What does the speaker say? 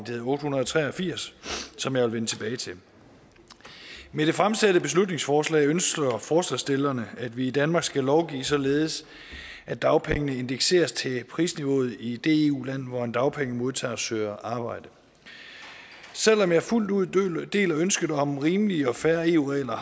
hedder otte hundrede og tre og firs som jeg vil vende tilbage til med det fremsatte beslutningsforslag ønsker forslagsstillerne at vi i danmark skal lovgive således at dagpengene indekseres til prisniveauet i det eu land hvor en dagpengemodtager søger arbejde selv om jeg fuldt ud deler ønsket om rimelige og fair eu regler og